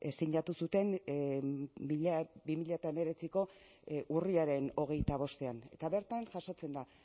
sinatu zuten bi mila hemeretziko urriaren hogeita bostean eta bertan jasotzen da